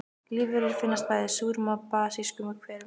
Lífverur finnast bæði í súrum og basískum hverum.